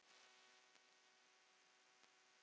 Silja Eyrún.